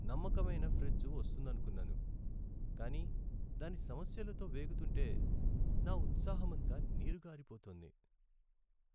నమ్మకమైన ఫ్రిజ్ వస్తుందనుకున్నాను, కానీ దాని సమస్యలతో వేగుతుంటే నా ఉత్సాహమంతా నీరుగారిపోతోంది.